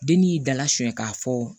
Den ni y'i dala sonya k'a fɔ